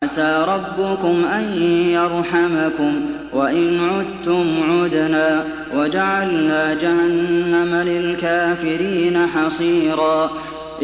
عَسَىٰ رَبُّكُمْ أَن يَرْحَمَكُمْ ۚ وَإِنْ عُدتُّمْ عُدْنَا ۘ وَجَعَلْنَا جَهَنَّمَ لِلْكَافِرِينَ حَصِيرًا